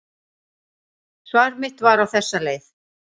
Svar mitt var á þessa leið: